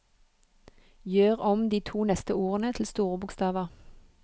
Gjør om de to neste ordene til store bokstaver